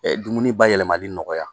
Dumuni bayɛlɛmali nɔgɔya.